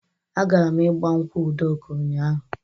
Agara m igbankwụ Udoka ụnyaahụ.